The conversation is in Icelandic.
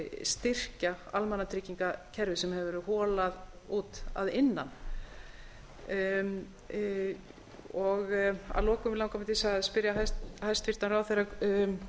styrkja almannatryggingakerfið sem hefur verið holað út að innan að lokum langar mig til þess að spyrja hæstvirtan ráðherra um